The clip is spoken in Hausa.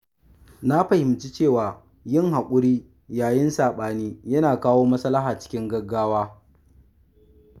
Na fahimci cewa yin hakuri yayin sabani yana kawo maslaha cikin gaggawa.